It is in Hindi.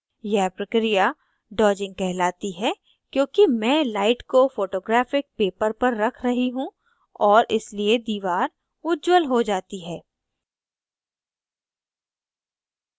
यह प्रक्रिया dodging कहलाती है क्योंकि मैं light को photographic paper पर रख रही हूँ और इसलिए दीवार उज्जवल हो जाती है